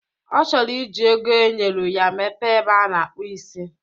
Ọ chọrọ iji ego enyelu ya mepee ebe a na-akpụ isi